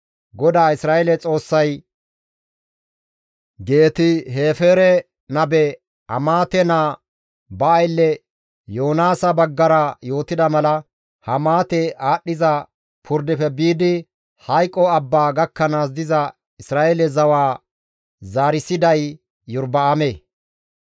GODAA Isra7eele Xoossay Geet-Hefeere nabe Amaate naa ba aylle Yoonaasa baggara yootida mala Hamaate aadhdhiza purdefe biidi hayqo abbaa gakkanaas diza Isra7eele zawaa zaarissiday Iyorba7aame.